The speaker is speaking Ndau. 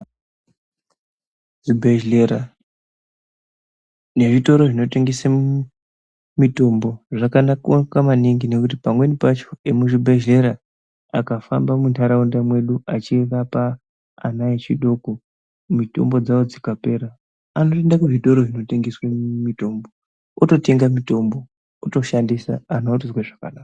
Zvibhehlera nezvitoro zvinotengese mitombo zvakanaka maningi nekuti pamweni pacho emuzvibhehlera akafamba muntaraunda mwedu achirapa ana echidoko, mitombo dzavo dzikapera anotoende kuzvitoro zvinotengesa mitombo, ototenge mitombo, anhu otozwe zvakanaka.